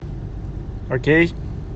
окей